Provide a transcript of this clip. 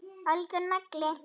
Algjör nagli.